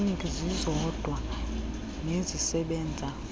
kliniki zizodwa nezisebenza